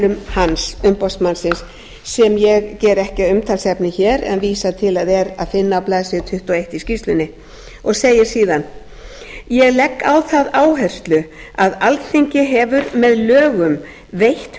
hans umboðsmannsins sem ég geri ekki að umtalsefni hér en vísa til að er að finna á blaðsíðu tuttugu og eitt í skýrslunni hann segir síðan ég legg á það áherslu að alþingi hefur með lögum veitt